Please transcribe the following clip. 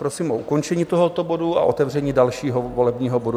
Prosím o ukončení tohoto bodu a otevření dalšího volebního bodu.